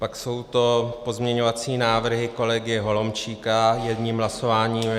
Pak jsou to pozměňovací návrhy kolegy Holomčíka jedním hlasováním.